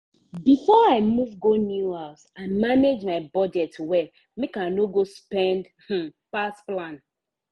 before i move go new house i manage my budget well make i no go spend um pass plan.